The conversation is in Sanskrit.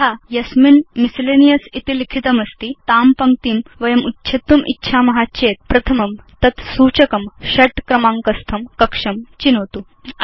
यथा यस्मिन् लाण्ड्री इति लिखितमस्ति तां पङ्क्तिं वयम् उच्छेत्तुम् इच्छाम चेत् प्रथमं तत् सूचकं षट् क्रमाङ्कस्थं कक्षं चिनोतु